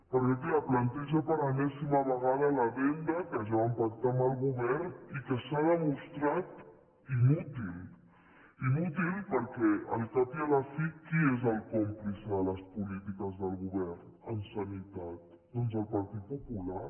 perquè clar planteja per enèsima vegada l’addenda que ja van pactar amb el govern i que s’ha demostrat inútil inútil perquè al cap i a la fi qui és el còmplice de les polítiques del govern en sanitat doncs el partit popular